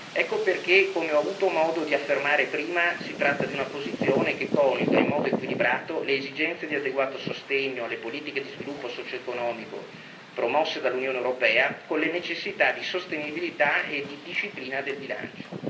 Ecco perché, come ho avuto modo di affermare prima, si tratta di una posizione che coniuga in modo equilibrato le esigenze di adeguato sostegno alle politiche di sviluppo socioeconomico promosse dall'Unione europea con le necessità di sostenibilità e di disciplina del bilancio.